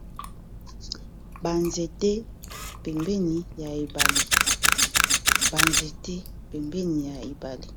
Ba nzete pembeni ya ebale.